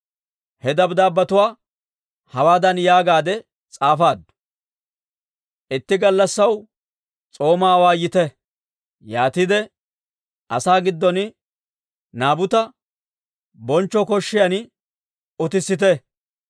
He dabddaabbetuwaa hawaadan yaagaadde s'aafaaddu; «Itti gallassaw s'oomaa awaayite; yaatiide asaa gidduwaan Naabuta bonchcho san utissite.